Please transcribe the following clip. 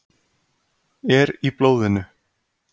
Er í blóðinu.